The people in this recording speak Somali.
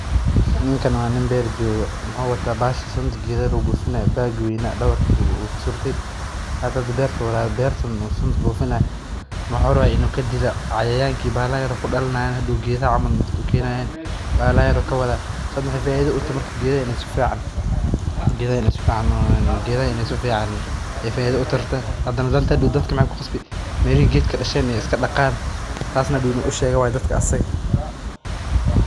Ninka waa nin beer joogo muxuu wataa sunta beerta lagu buufinaye geedaha ayeey faida utahay dadka waxeey ku qasbi inaay iska daqaan.